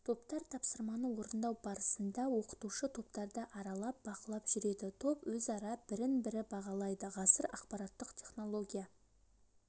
топтар тапсырманы орындау барысында оқытушы топтарды аралап бақылап жүреді топ өзара бірін-бірі бағалайды ғасыр ақпараттық технология